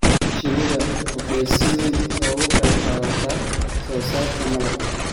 Shinnidu waxay si weyn uga qayb qaadataa soosaarka malabka.